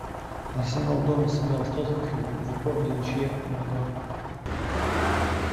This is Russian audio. арсенал дома сыграл с тоттенхэмом в упорной ничье два два